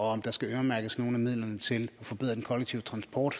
og om der skal øremærkes nogle af midlerne til at forbedre den kollektive transport